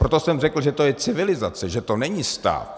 proto jsem řekl, že to je civilizace, že to není stát.